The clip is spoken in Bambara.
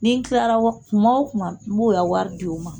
Ni tilara tuma o tuma n b'o y'a wari di o ma.